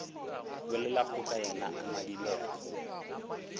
bolelago ka yena a ngwadilego